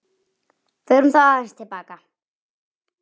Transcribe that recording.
Förum þá aðeins til baka.